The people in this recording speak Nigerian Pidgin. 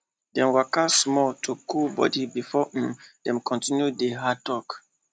dem waka small to cool body before um dem continue di hard talk